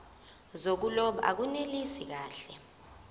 zokuloba akunelisi kahle